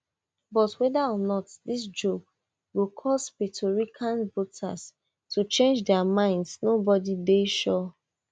but weda or not dis joke go cause puerto rican voters to change dia minds nobody dey sure